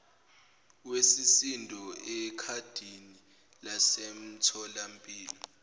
wesisindo ekhadini lasemtholampilo